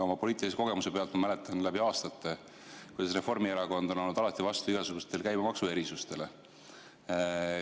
Oma poliitilisest kogemusest ma mäletan, kuidas Reformierakond on alati olnud vastu igasugustele käibemaksuerisustele.